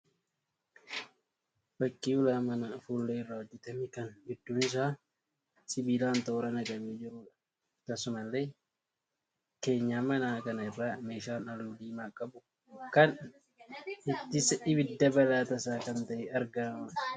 Fakkii ulaa manaa fuullee irraa hojjetame kan gidduun isaa sibiilaan toora galee naqamee jiruudha. Akkasumallee keenyan manaa kana irra meeshaan halluu diimaa qabu kan ittisa ibidda balaa tasaa kan ta'e argamaa jira.